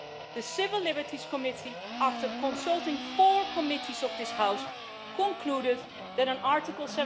The Civil Liberties Committee, after consulting four committees of this House, concluded that an Article